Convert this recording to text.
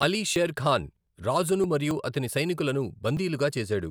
అలీ షేర్ ఖాన్ రాజును మరియు అతని సైనికులను బందీలుగా చేశాడు.